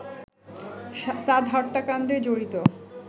সাদ হত্যাকাণ্ডে জড়িত